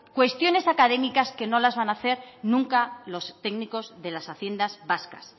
cuestiones académicas que no las van hacer nunca los técnicos de las haciendas vascas